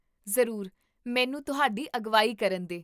ਜ਼ਰੂਰ, ਮੈਨੂੰ ਤੁਹਾਡੀ ਅਗਵਾਈ ਕਰਨ ਦੇ